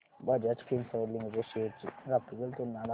Bajaj Finserv limited shares ची graphical तुलना दाखव